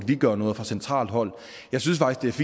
vi gøre noget fra centralt hold jeg synes faktisk